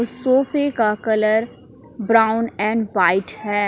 सोफे का colour brown and white है।